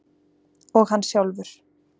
Og hann sjálfur.